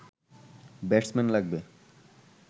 batsman লাগবে